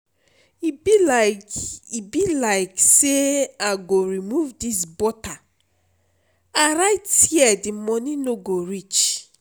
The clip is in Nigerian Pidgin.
e be like e be like say i go remove dis butter i write here the money no go reach